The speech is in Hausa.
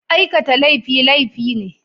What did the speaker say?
Aikata laifi, laifi ne.